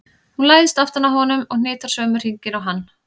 Hún læðist aftan að honum og hnitar sömu hringina og hann.